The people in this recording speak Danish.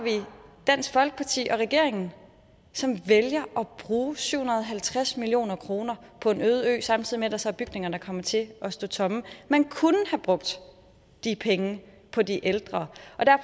dansk folkeparti og regeringen som vælger at bruge syv hundrede og halvtreds million kroner på en øde ø samtidig med at der så er bygninger der kommer til at stå tomme man kunne have brugt de penge på de ældre